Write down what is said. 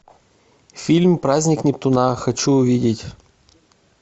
фильм праздник нептуна хочу увидеть